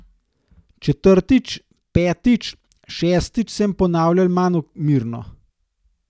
Četrtič, petič, šestič sem ponavljal manj mirno.